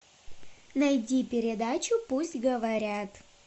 найди передачу пусть говорят